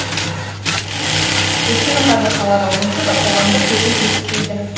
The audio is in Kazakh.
өйткені қазір қалада онсыз да қоғамдық көлік жетіспейді